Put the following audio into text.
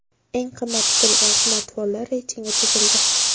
Eng qimmat tutilgan smartfonlar reytingi tuzildi.